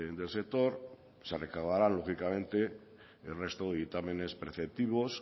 del sector se recabará lógicamente el resto de dictámenes preceptivos